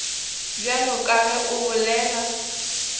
bjalo ka ge o bolela